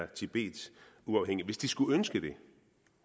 tibet skulle ønske det